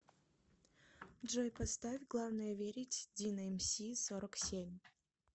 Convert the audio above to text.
джой поставь главное верить дино эмси сорок семь